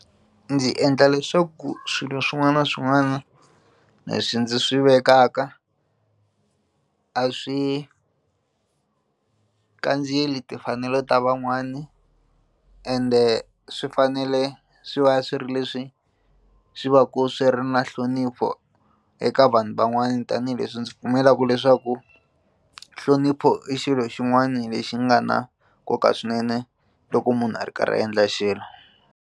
Ndzi endla leswaku swilo swin'wana na swin'wana leswi ndzi swi vekaka a swi kandziyeli timfanelo ta van'wana ende swi fanele swi va swi ri leswi swi va ku swi ri na nhlonipho eka vanhu van'wana tanihileswi ndzi pfumelaku leswaku nhlonipho i xilo xin'wana lexi nga na nkoka swinene loko munhu a ri karhi a endla xilo.